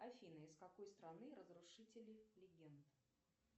афина из какой страны разрушители легенд